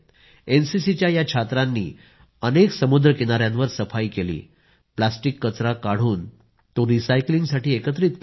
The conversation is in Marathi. एनसीसीच्या या छात्रांनी अनेक ठिकाणी सफाई केली प्लास्टिक कचरा काढून तो रिसायकलिंगसाठी एकत्रित केला